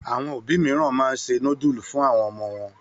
Àwọn òbí mìíràn máa ń se núdúlù fún àwọn ọmọ wọn.